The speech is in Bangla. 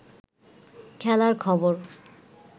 খেলার খবর